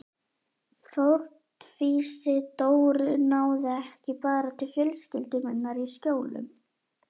Fórnfýsi Dóru náði ekki bara til fjölskyldu minnar í Skjólunum.